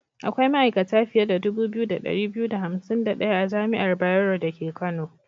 Akwai ma'aikata fiye da dubu biyu da ɗari biyu da hansim da ɗaya a jami'ar Bayero dake Kano.